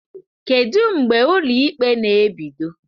Kedu mgbe ụlọ ikpe na-ebido?